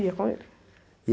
Ia com ele.